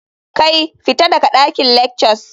Kai! fita daga dakin lectures.